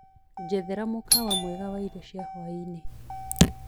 njethera mũkawa mwega waĩrĩo cĩa hwaĩnĩ